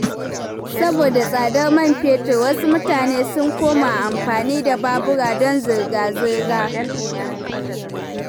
Saboda tsadar man fetur, wasu mutane sun koma amfani da babura don zirga-zirga.